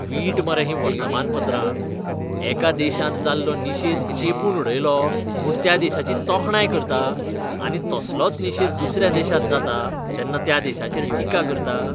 वीट मरे हीं वर्तमानपत्रां. एका देशांत जाल्लो निशेध चेंपून उडयलो म्हूण त्या देशाची तोखणाय करता, आनी तसलोच निशेध दुसऱ्या देशांत जाता तेन्ना त्या देशाचेर टिका करता?